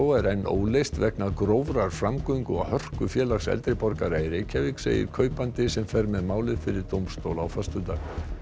er enn óleyst vegna grófrar framgöngu og hörku Félags eldri borgara í Reykjavík segir kaupandi sem fer með málið fyrir dómstóla á föstudag